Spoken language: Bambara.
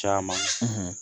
Caman